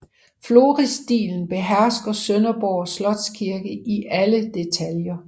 Florisstilen behersker Sønderborg Slotskirke i alle detaljer